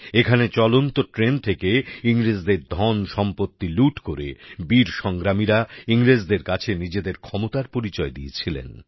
এখানে চলন্ত ট্রেন থেকে ইংরেজদের ধনসম্পত্তি লুট করে বীর সংগ্রামীরা ইংরেজদের কাছে নিজেদের ক্ষমতার পরিচয় দিয়েছিলেন